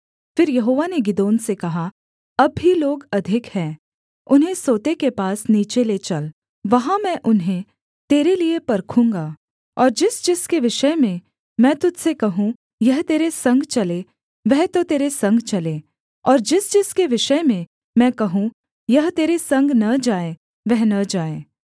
फिर यहोवा ने गिदोन से कहा अब भी लोग अधिक हैं उन्हें सोते के पास नीचे ले चल वहाँ मैं उन्हें तेरे लिये परखूँगा और जिस जिसके विषय में मैं तुझ से कहूँ यह तेरे संग चले वह तो तेरे संग चले और जिस जिसके विषय में मैं कहूँ यह तेरे संग न जाए वह न जाए